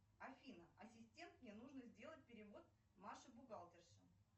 афина ассистент мне нужно сделать перевод маше бухгалтерше